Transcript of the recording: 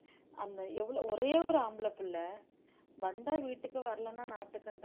அந்த எவ்வளவு ஒரே ஒரு ஆம்பள பிள்ளை வந்தா வீட்டுக்கு வரலைன்னா நாட்டுக்குன்றாங்க